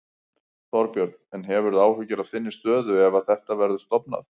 Þorbjörn: En hefurðu áhyggjur af þinni stöðu ef að þetta verður stofnað?